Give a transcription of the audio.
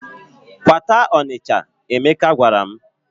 "Kwata Ọnịcha," Emeka gwara m.